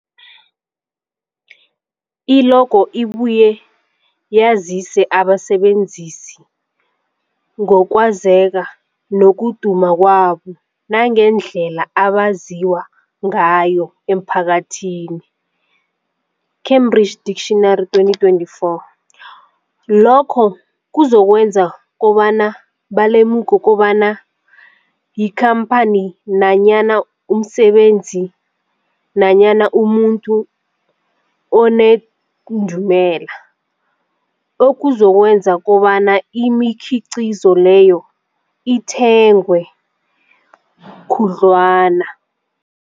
I-logo ibuye yazise abasebenzisi ngokwazeka nokuduma kwabo nangendlela abaziwa ngayo emphakathini, Cambridge Dictionary 2024. Lokho kuzokwenza kobana balemuke kobana yikhamphani nanyana umsebenzi nanyana umuntu onendumela, okuzokwenza kobana imikhiqhizo leyo ithengwe khudlwana.